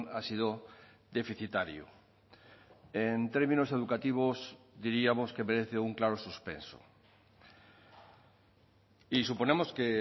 ha sido deficitario en términos educativos diríamos que merece un claro suspenso y suponemos que